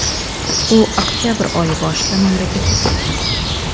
U oktyabr oyi boshida mamlakatga kelgan.